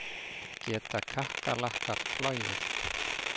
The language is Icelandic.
Geta kakkalakkar flogið?